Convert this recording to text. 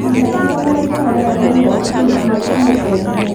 Iga nyama njohe rĩerainĩ ihehu biũ nginya ĩkinye kwendio